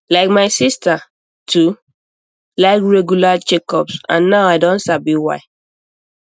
like my sister too like regular checkups and now i don sabi why